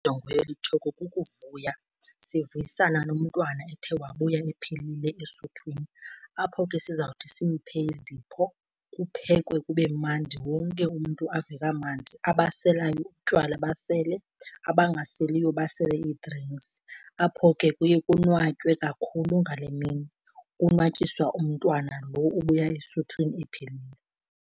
Injongo yeli theko kukuvuya, sivuyisana nomntwana ethe wabuya ephilile esuthwini. Apho ke sizawuthi simphe izipho, kuphekwe kube mandi, wonke umntu ave kamandi. Abaselayo utywala basele, abangaseliyo basele ii-drinks, apho ke kuye konwatywe kakhulu ngale mini konwatyiswa umntwana lo ubuya esuthwini ephilile.